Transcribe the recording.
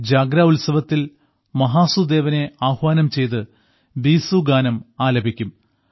ജാഗ്ര ഉത്സവത്തിൽ മഹാസു ദേവനെ ആഹ്വാനം ചെയ്ത് ബീസു ഗാനം ആലപിക്കും